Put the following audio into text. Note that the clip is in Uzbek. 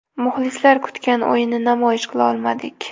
Muxlislar kutgan o‘yinni namoyish qila olmadik.